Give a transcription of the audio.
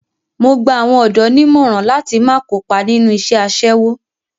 Mo gba àwọn ọ̀dọ́ nímọ̀ràn láti má kópa nínú iṣẹ́ aṣẹ́wó.